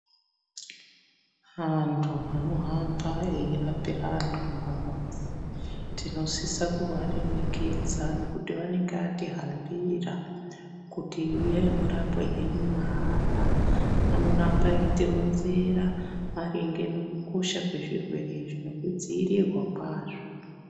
Antu anohamba eihambira antu mumamuzi tinosisa kuvaremekedza nekuti vanenge atihambira kuti uyai murapwe henyu mahala. Anoramba eitironzera maringe nekukosha kwezvirwere izvi, nekudziirirwa kwazvo.